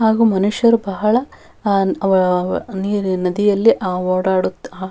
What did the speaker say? ಹಾಗೂ ಮನುಷ್ಯರು ಬಹಳ ಆಹ್ಹ್ ನೀರ್ ನದಿಯಲ್ಲಿ ಓಡಾಡುತ್ತಾ--